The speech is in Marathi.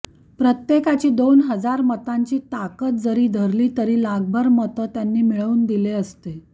प्रत्येकाची दोन हजार मतांची ताकद जरी धरली तरी लाखभर मतं त्यांनी मिळवून दिले असते